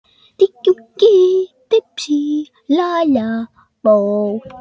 Þín Tinna og Þór.